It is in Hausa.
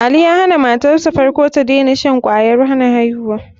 Ali ya han matarsa ta farko da tadena shan kwayar hana aihuwa.